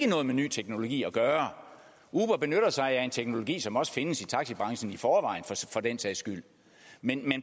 noget med ny teknologi at gøre uber benytter sig af en teknologi som også findes i taxibranchen i forvejen for den sags skyld men